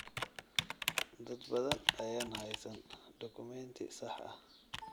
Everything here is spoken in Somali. Dad badan ayaan haysan dukumeenti sax ah.